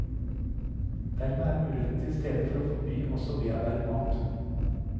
Dermed er muligheten til stede for å forby også bearbeidet mat.